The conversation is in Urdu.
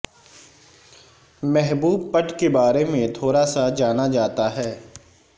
محبوب پٹ کے بارے میں تھوڑا سا جانا جاتا ہے